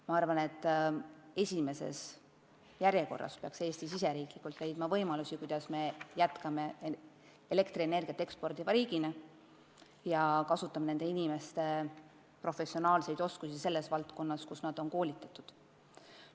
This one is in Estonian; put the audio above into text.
Ma arvan, et esimeses järjekorras peaks Eesti leidma võimalusi, kuidas jätkata elektrienergiat eksportiva riigina, ja kasutama nende inimeste professionaalseid oskusi valdkonnas, milles töötamiseks nad on koolitatud.